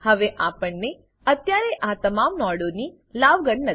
હવે આપણને અત્યારે આ તમામ નોડોની લાગવળગ નથી